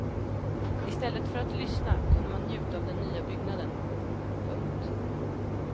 I stället föratt lyssna kunde man njuta av den nya byggnaden. punkt